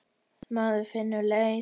Maður finnur leið.